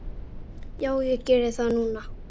Já, ég geri það núna.